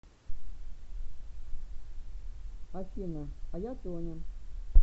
афина а я тоня